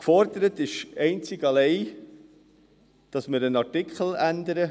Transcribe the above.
Gefordert ist einzig allein, dass wir einen Artikel ändern: